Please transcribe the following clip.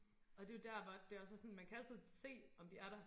Og det jo der hvor at det også er sådan man kan altid se om de er der